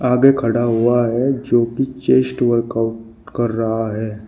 आगे खड़ा हुआ है जो कि चेस्ट वर्कआउट कर रहा है।